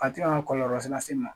A tɛna kɔlɔrɔlase in man.